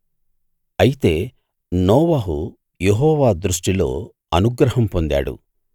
అయితే నోవహు యెహోవా దృష్టిలో అనుగ్రహం పొందాడు